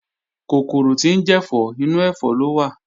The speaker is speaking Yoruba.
Kòkòrò tí ń jẹ̀fọ́, inú ẹ̀fọ́ ló wà